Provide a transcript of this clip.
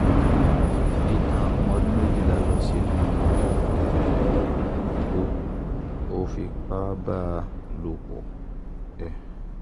aládé tán ọmọ ọdún méjìlá lọ sínú um igbó ó fipá bá a lò pọ̀ um